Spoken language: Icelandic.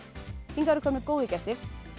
hingað eru komnir góðir gestir